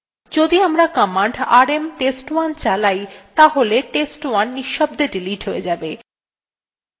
যদি আমরা command rm test1 চালাই তাহলে test1 নিঃশব্দে ডিলিট হয়ে যাবে